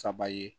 Saba ye